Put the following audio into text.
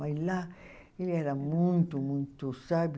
Mas lá ele era muito, muito, sabe?